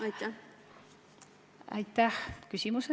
Aitäh küsimuse eest!